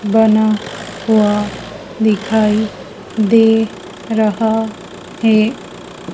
बना हुआ दिखाई दे रहा है।